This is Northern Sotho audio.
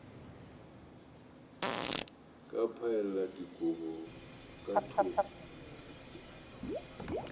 ka phaela dikobo ka thoko